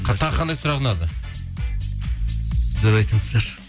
тағы қандай сұрақ ұнады сіздер айтсаңыздаршы